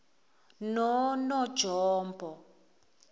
nonongjombo